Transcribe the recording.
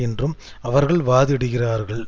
என்றும் அவர்கள் வாதிடுகிறார்கள்